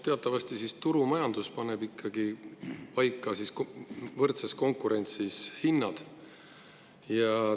Teatavasti turumajandus paneb ikkagi võrdses konkurentsis hinnad paika.